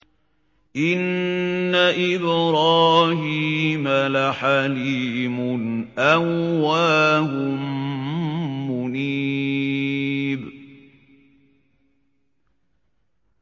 إِنَّ إِبْرَاهِيمَ لَحَلِيمٌ أَوَّاهٌ مُّنِيبٌ